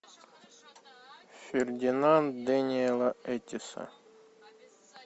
фердинанд дэниела эттиэса